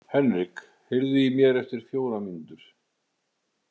Henrik, heyrðu í mér eftir fjórar mínútur.